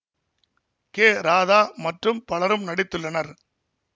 K Radha மற்றும் பலரும் நடித்துள்ளனர்